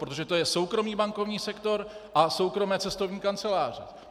Protože to je soukromý bankovní sektor a soukromé cestovní kanceláře.